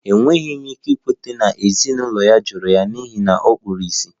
Enweghị m ike ikweta na ezinụlọ ya jụrụ ya n'ihi na ọ kpuru ìsì